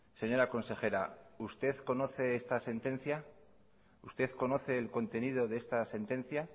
señora consejera usted conoce esta sentencia usted conoce el contenido de esta sentencia